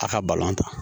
A ka ta